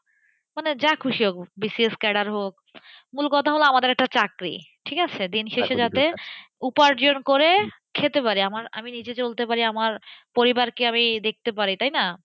মানে যা খুশি হব। BCScader হোক। মূলকথা হলো আমাদের একটা চাকরি। ঠিক আছে? দিন শেষে যাতে উপার্জন করে খেতে পারি। আমার, আমি নিজে চলতে পারি, আমার পরিবারকে আমি দেখতে পারি। তাইনা?